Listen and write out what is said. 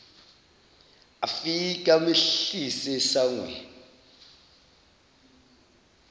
afike amehlise esangweni